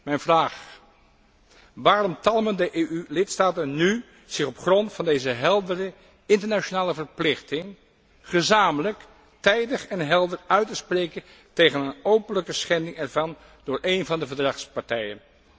Mijn vraag luidt waarom talmen de EU lidstaten nu om zich op grond van deze heldere internationale verplichting gezamenlijk, tijdig en helder uit te spreken tegen een openlijke schending ervan door een van de verdragspartijen?